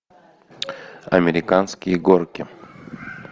американские горки